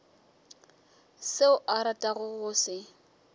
seo a ratago go se